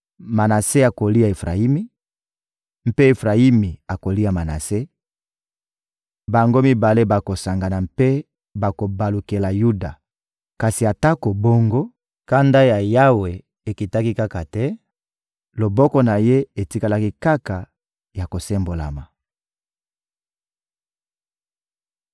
Manase akolia Efrayimi, mpe Efrayimi akolia Manase; bango mibale bakosangana mpe bakobalukela Yuda. Kasi atako bongo, kanda ya Yawe ekitaki kaka te, loboko na Ye etikalaki kaka ya kosembolama.